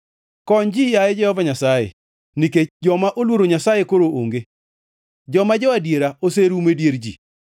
Kony ji yaye Jehova Nyasaye, nikech joma oluoro Nyasaye koro onge; joma jo-adiera oserumo e dier ji.